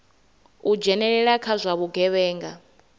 u dzhenelela kha zwa vhugevhenga